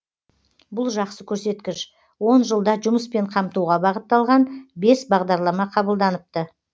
бұл жақсы көрсеткіш он жылда жұмыспен қамтуға бағытталған бес бағдарлама қабылданыпты